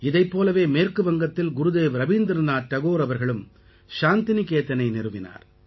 இதைப் போலவே மேற்கு வங்கத்தில் குருதேவ் ரவீந்திரநாத் டகோர் அவர்களும் சாந்திநிகேகதனை நிறுவினார்